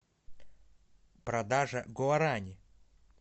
продажа гуарани